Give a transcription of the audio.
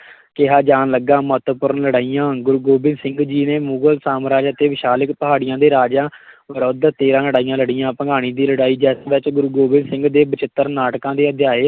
ਕਿਹਾ ਜਾਣ ਲੱਗਾ, ਮਹੱਤਵਪੂਰਨ ਲੜਾਈਆਂ ਗੁਰੂ ਗੋਬਿੰਦ ਸਿੰਘ ਜੀ ਨੇ ਮੁਗਲ ਸਾਮਰਾਜ ਅਤੇ ਸ਼ਿਵਾਲਿਕ ਪਹਾੜੀਆਂ ਦੇ ਰਾਜਿਆਂ ਵਿਰੁੱਧ ਤੇਰਾਂ ਲੜਾਈਆਂ ਲੜੀਆਂ, ਭੰਗਾਣੀ ਦੀ ਲੜਾਈ, ਜਿਸ ਵਿੱਚ ਗੋਬਿੰਦ ਸਿੰਘ ਦੇ ਬਿਚਿਤਰ ਨਾਟਕਾਂ ਦੇ ਅਧਿਆਇ